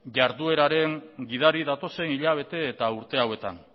jardueraren gidari datozen hilabete eta urte hauetan